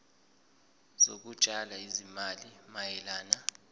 zokutshala izimali mayelana